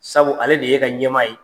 Sabu ale de y'e ka ɲɛmaa ye.